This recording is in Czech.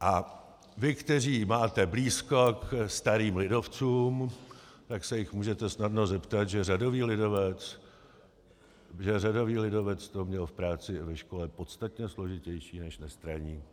A vy, kteří máte blízko ke starým lidovcům, tak se jich můžete snadno zeptat, že řadový lidovec to měl v práci i ve škole podstatně složitější než nestraník,